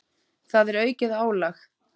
Það er aukið álag.